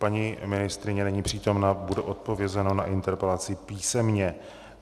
Paní ministryně není přítomna, bude odpovězeno na interpelaci písemně.